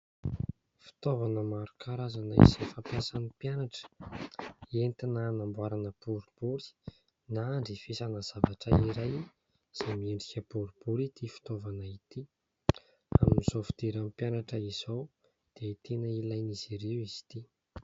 Fitaovana maro karazana izay fampiasan'ny mpianatra, entina anamboarana boribory na andrefesana zavatra iray izay miendrika boribory ity fitaovana ity. Amin'izao fidiran'ny mpianatra izao dia tena ilain'izy ireo izy ity.